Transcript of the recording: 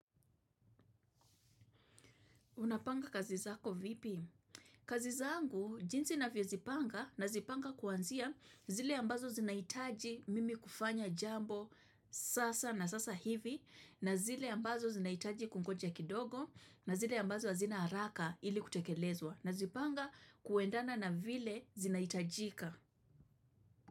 Unapanga kazi zako vipi? Kazi zangu jinsi navyo zipanga nazipanga kuanzia zile ambazo zinahitaji mimi kufanya jambo sasa na sasa hivi na zile ambazo zinahitaji kungoja kidogo na zile ambazo hazina haraka ili kutekelezwa na zipanga kuendana na vile zinahitajika.